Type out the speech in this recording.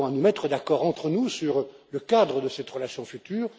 nous avons à nous mettre d'accord entre nous sur le cadre de cette relation future.